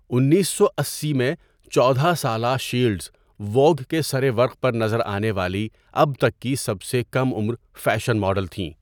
انیسو اسی میں، چودہ سالہ شیلڈز ووگ کے سرورق پر نظر آنے والی اب تک کی سب سے کم عمر فیشن ماڈل تھیں.